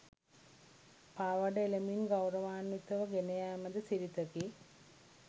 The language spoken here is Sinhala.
පාවාඩ එළමින් ගෞරවාන්විතව ගෙනයෑම ද සිරිතකි.